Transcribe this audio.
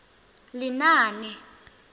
lenaane